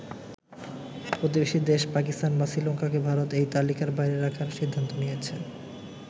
প্রতিবেশী দেশ পাকিস্তান বা শ্রীলঙ্কাকে ভারত এই তালিকার বাইরে রাখার সিদ্ধান্ত নিয়েছে।